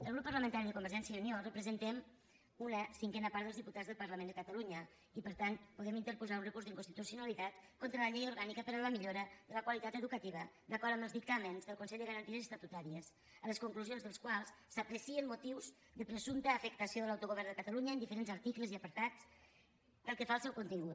el grup parlamentari de convergència i unió representem una cinquena part dels diputats del parlament de catalunya i per tant podem interposar un recurs d’inconstitucionalitat contra la llei orgànica per a la millora de la qualitat educativa d’acord amb els dictàmens del consell de garanties estatutàries a les conclusions dels quals s’aprecien motius de presumpta afectació de l’autogovern de catalunya en diferents articles i apartats pel que fa al seu contingut